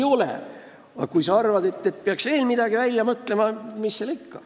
Aga kui sa arvad, et peaks veel midagi välja mõtlema, siis mis seal ikka.